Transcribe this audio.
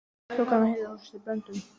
Svo kann að heita að þú sért í böndum.